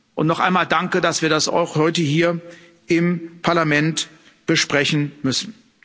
Und noch einmal danke, dass wir das auch heute hier im Parlament besprechen müssen.